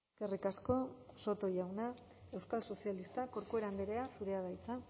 eskerrik asko soto jauna euskal sozialistak corcuera andrea zurea da hitza